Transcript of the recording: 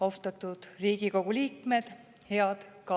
Austatud Riigikogu liikmed!